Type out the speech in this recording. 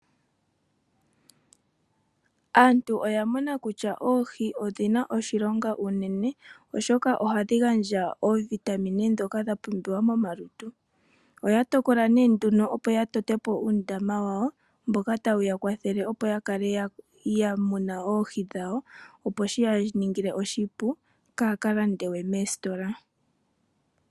Aantu oya mona kutya oohi odhina oshilonga unene, oshoka ohadhi gandja oovitamine dhoka dha pumbiwa momalutu. Oya tokola nduno opo ya totepo uundama wawo, mboka tawu ya kwathele opo yakale ya mona oohi dhawo, opo shi yaningile oshipu, kaa kalande we moositola.